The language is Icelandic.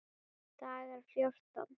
Dagar fjórtán